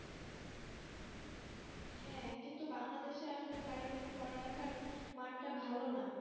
হ্যাঁ কিন্তু Bangladesh আসলে কারিগরি পড়ালেখার মানটা ভালো না